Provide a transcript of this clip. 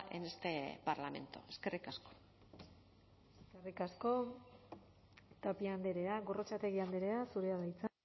en este parlamento eskerrik asko eskerrik asko tapia andrea gorrotxategi andrea zurea da hitza